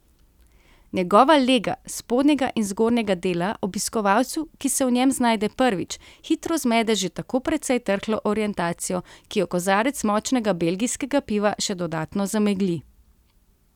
Njegova lega spodnjega in zgornjega dela obiskovalcu, ki se v njem znajde prvič, hitro zmede že tako precej trhlo orientacijo, ki jo kozarec močnega belgijskega piva še dodatno zamegli.